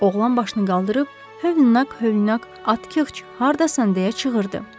Oğlan başını qaldırıb, hövnək-hövnək atxıç hardasan deyə çığırdı.